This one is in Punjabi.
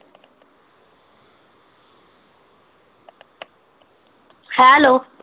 hello